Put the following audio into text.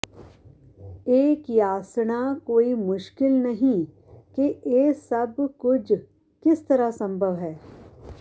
ਇਹ ਕਿਆਸਣਾ ਕੋਈ ਮੁਸ਼ਕਿਲ ਨਹੀਂ ਕਿ ਇਹ ਸਭ ਕੁਝ ਕਿਸ ਤਰ੍ਹਾਂ ਸੰਭਵ ਹੈ